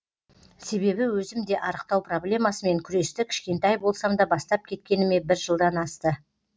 себебі өзім де арықтау проблемасымен күресті кішкентай болсам да бастап кеткеніме бір жылдан асты